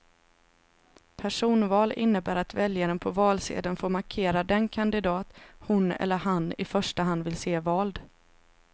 Personval innebär att väljaren på valsedeln får markera den kandidat hon eller han i första hand vill se vald.